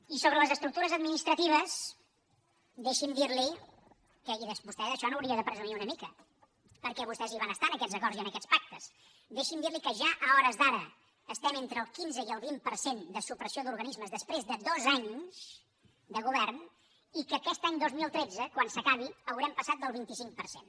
i sobre les estructures administratives deixi’m dir li i vostè d’això n’hauria de presumir una mica perquè vostès hi van estar en aquests acords i en aquests pactes que ja a hores d’ara estem entre el quinze i el vint per cent de supressió d’organismes després de dos anys de govern i que aquest any dos mil tretze quan s’acabi haurem passat del vint cinc per cent